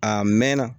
A mɛnna